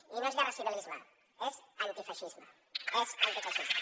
i no és guerracivilisme és antifeixisme és antifeixisme